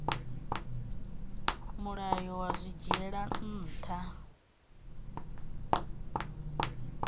mulayo wa zwi dzhiela nha